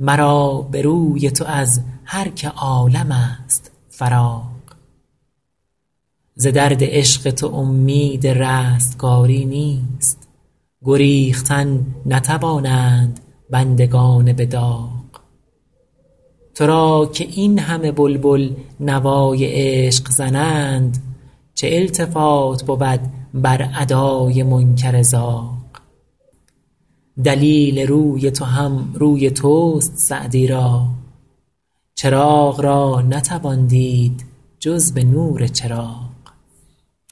مرا به روی تو از هر که عالم ست فراغ ز درد عشق تو امید رستگاری نیست گریختن نتوانند بندگان به داغ تو را که این همه بلبل نوای عشق زنند چه التفات بود بر ادای منکر زاغ دلیل روی تو هم روی توست سعدی را چراغ را نتوان دید جز به نور چراغ